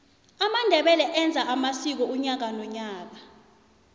amandebele enza amsiko unyaka nonyaka